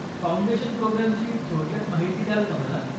Foundation प्रोग्रॅमची थोडक्यात माहिती द्याल का मला?